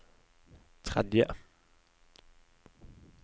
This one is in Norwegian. tredje